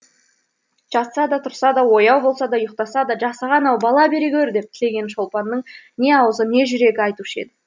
жатса да тұрса да ояу болса да ұйықтаса да жасаған ау бала бере гөр деген тілекті шолпанның не аузы не жүрегі айтушы еді